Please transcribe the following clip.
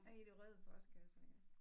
I de røde postkasser ja